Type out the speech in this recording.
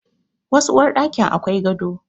Wasu uwarɗakin akwai gado.